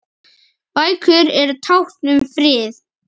Bækur eru tákn um frið